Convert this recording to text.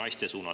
Aitäh!